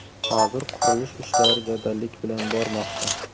Hozir qurilish ishlari jadallik bilan bormoqda.